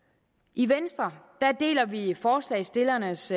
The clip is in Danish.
i venstre deler vi forslagsstillernes